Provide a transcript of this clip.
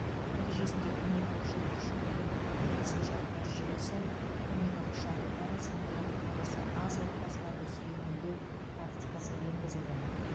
нәтижесінде көмек алушылар үшін әлеуметтік келісімшарттар жүйесі көмек алу шарттары сондай ақ табысы аз отбасыларды сүйемелдеу практикасы енгізілді